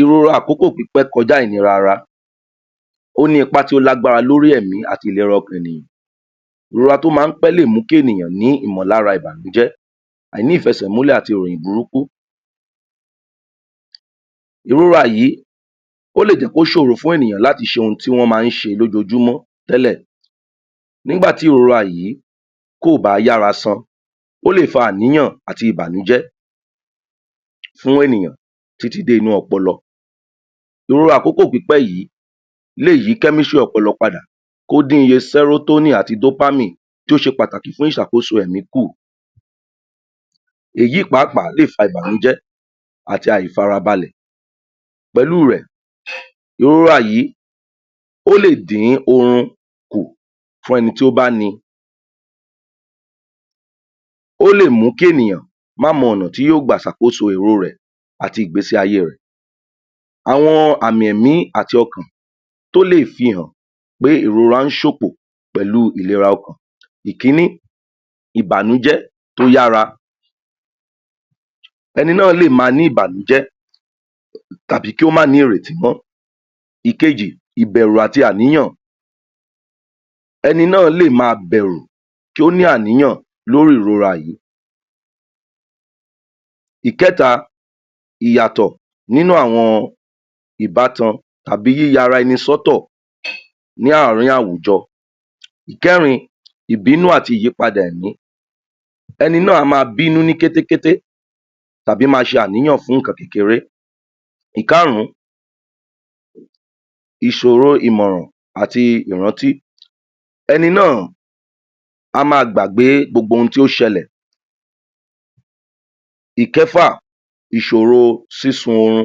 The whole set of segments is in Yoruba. irú àkókò pípẹ́ kọjá yìí ni rara ó ní ipá tó lágbára lórí ẹ̀mí àti ìlera ọkàn ènìyàn irora tó má pẹ́ lè mú kí ènìyàn ní ìmọ̀lára ìbànújẹ́ àìní ìfẹsẹ múlẹ̀ àti ìròyìn burúkú ìrora yìí ó lè jẹ́ kó sòro fún ènìyàn láti ṣe ohun tí wọ́n ma ṣe lójojúmọ́ tẹ́lẹ̀ nígbàtí ìrora yìí kòbá yára san ó lè fa àníyàn àti ìbànújẹ́ fún ènìyàn títí dé inú ọpọlọ irú àkókò pípẹ́ yìí lé yí? ọpọlọ padà kó dí iye sérótónì àti dópámì tó ṣe pàtàkì fún ìsàkóso èmí kù èyí pàápàá lè fa ìbànújẹ́ àti àìfarabalẹ̀ pẹ̀lú rẹ̀ um ìrora yìí ó lè dí oru kù fún ẹni tí ó má ni ó lè mú kí ènìyàn má mọ ọ̀nà tí yóò gbà sàkóso àti ìgbésé ayé rẹ̀ àwọn àmì èmí àti ọkàn tó lè fi hàn pé irora sòpò pẹlu ìlera ọkàn ìkíní ìbànújẹ́ ó yára ẹni náà lè ma ní ìbànújẹ́ tàbí kí ó má ní ìrètí mọ́ ìkejì ìbẹ̀rù àti àníyàn ẹni náà lé ma bẹ̀rù kí ó ní àníyàn lórí ìrora yìí ìkẹ́ta iyàtọ̀ nínú awọn ìbátan tàbí yíya ara ẹni sọ́tò? ní àárín àwùjọ ìkẹ́rin ìbínú àti ìyípadè ẹ̀mí ẹni náà a ma bínú níkété kété tàbí ma ṣe ànìyàn fún ìkan kékeré ìkárún ìsòro ìmọ̀ràn àti ìrántí ẹni náà a ma gbàgbé gbogbo ohun tí o ti ṣẹlẹ̀ ìkẹ́fà ìsòro sísun oru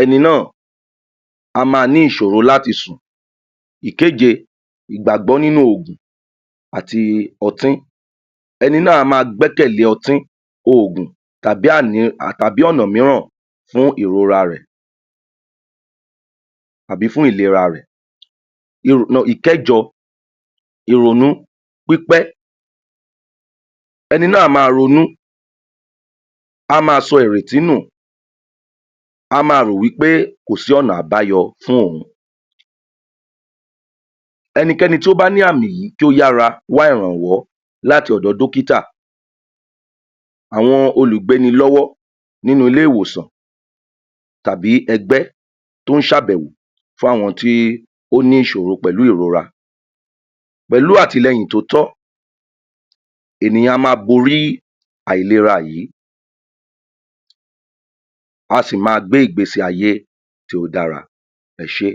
ẹni ná́à a ma ní ìsòro láti sùn ìkéje ìgbàgbọ́ nínú ògùn àti ọtí ẹni náà a ma gbẹ́kẹ̀lé ọtí ògùn tàbí um, tàbí ọ̀nà míràn fún ìrora rẹ̀ tàbí fún ìlera rè um um ìkẹ́jọ ìronú pípẹ́ ẹni náà a ma ronú a ma sọ ìrètí nù a ma rò wí pé kòsí ọ̀nà àbáyọ fún òhun ẹnikẹ́ni tó bá ní àmì yìí kó yára wá ìrànwọ́ láti ọ̀dọ dọ́kítà àwọn olùgbénilọ́wọ́ nínú ilé- ìwòsan tàbí ẹgbẹ́ tó ṣèbẹ̀wò fún àwọn tí o ́ ní ìsòro pẹ̀lú ìrora pẹ̀lú àtìlẹ́hìn tó tọ́ ènìyàn a ma bọrí àìlera yìí wọn sì ma gbé ìgbésé ayé tí ó dára ẹṣé.